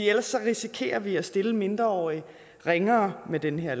ellers risikerer vi at stille mindreårige ringere med den her